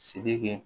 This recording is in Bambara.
Sirike